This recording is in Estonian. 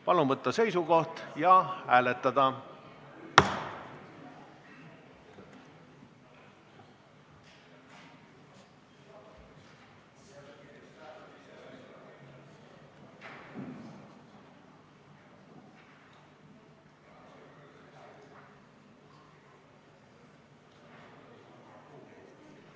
Palun võtta seisukoht ja hääletada!